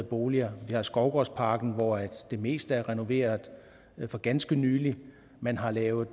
boliger vi har skovgårdsparken hvor det meste er renoveret for ganske nylig man har lavet